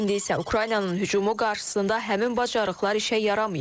İndi isə Ukraynanın hücumu qarşısında həmin bacarıqlar işə yaramayıb.